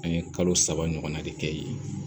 An ye kalo saba ɲɔgɔnna de kɛ yen